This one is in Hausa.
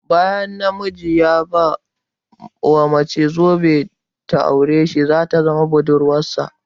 Bayan na miji ya ɓai wa mace zobe don ta aure sh ta zama budurwarsa